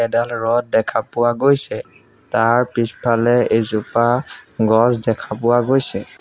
এডাল ৰড দেখা পোৱা গৈছে তাৰ পিছফালে এজোপা গছ দেখা পোৱা গৈছে।